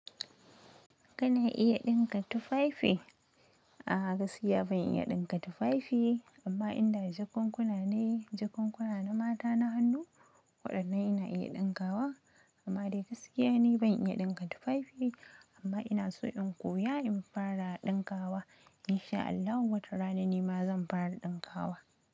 Kana iya ɗinka tufafi? A'a, gaskiya ban iya ɗinka tufafi amma in da jakunkuna ne, jakunkuna na mata na hannu waɗannan ina iya ɗinkawa amma dai gaskiya ni ban iya ɗinka tufafi amma ina so in koya in fara ɗinkawa. In sha Allah wata rana nima zan fara ɗinkawa.